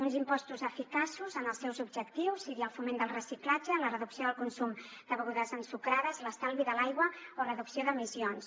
uns impostos eficaços en els seus objectius sigui el foment del reciclatge la reducció del consum de begudes ensucrades l’estalvi de l’aigua o reducció d’emissions